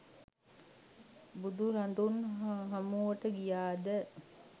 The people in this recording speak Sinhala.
බුදුරදුන් හමුවට ගියද